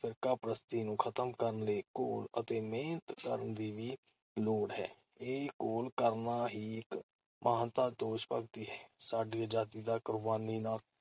ਫ਼ਿਰਕਾਪ੍ਰਸਤੀ ਨੂੰ ਖਤਮ ਕਰਨ ਲਈ ਘੋਲ ਅਤੇ ਮਿਹਨਤ ਕਰਨ ਦੀ ਵੀ ਲੋੜ ਹੈ। ਇਹ ਘੋਲ ਕਰਨਾ ਹੀ ਇਕ ਮਹਾਨਤਾ ਦੋਸ਼-ਭਗਤੀ ਹੈ। ਸਾਡੀ ਅਜਾਦੀ ਦਾ ਕੁਰਬਾਨੀਆਂ ਨਾਲ